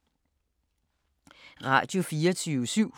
Radio24syv